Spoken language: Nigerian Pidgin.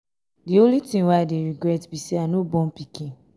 the only thing wey i dey regret be say i no born pikin.